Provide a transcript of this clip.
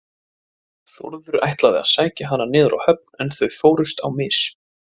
Þórður ætlaði að sækja hana niður á höfn en þau fórust á mis.